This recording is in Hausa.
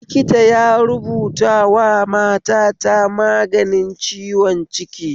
Likita yarubutawa matata magani ciwon ciki